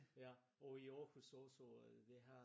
Ja. Og i Aarhus også det her